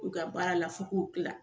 U ka baara la f'u k'u tila.